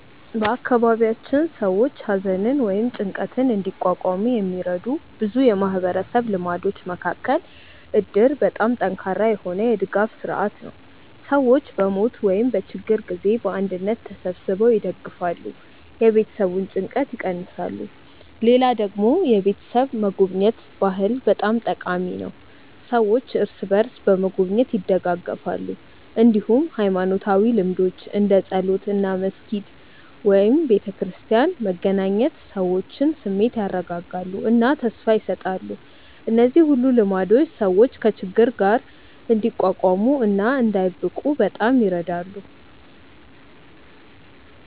በአካባቢያችን ሰዎች ሐዘንን ወይም ጭንቀትን እንዲቋቋሙ የሚረዱ ብዙ የማህበረሰብ ልማዶች መካከል እድር በጣም ጠንካራ የሆነ የድጋፍ ስርዓት ነው፤ ሰዎች በሞት ወይም በችግር ጊዜ በአንድነት ተሰብስበው ይደግፋሉ፣ የቤተሰቡን ጭንቀት ይቀንሳሉ። ሌላ ደግሞ የቤተሰብ መጎብኘት ባህል በጣም ጠቃሚ ነው፤ ሰዎች እርስ በርስ በመጎብኘት ይደጋገፋሉ። እንዲሁም ሃይማኖታዊ ልምዶች እንደ ጸሎት እና መስጊድ/ቤተክርስቲያን መገናኘት የሰዎችን ስሜት ያረጋጋሉ እና ተስፋ ይሰጣሉ። እነዚህ ሁሉ ልማዶች ሰዎች ከችግር ጋር እንዲቋቋሙ እና እንዳይብቁ በጣም ይረዳሉ።